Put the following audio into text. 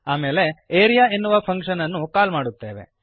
ಆಮೇಲೆ ಆರಿಯಾ ಎನ್ನುವ ಫಂಕ್ಶನ್ ಅನ್ನು ಕಾಲ್ ಮಾಡುತ್ತೇವೆ